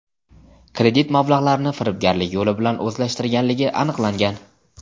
kredit mablag‘larini firibgarlik yo‘li bilan o‘zlashtirganligi aniqlangan.